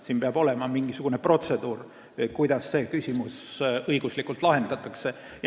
Siin peab olema mingisugune protseduur, kuidas see küsimus õiguslikult lahendatakse.